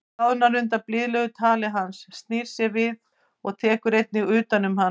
Hún bráðnar undan blíðlegu tali hans, snýr sér við og tekur einnig utan um hann.